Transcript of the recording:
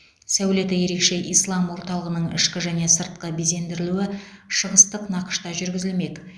сәулеті ерекше ислам орталығының ішкі және сыртқы безендірілуі шығыстық нақышта жүргізілмек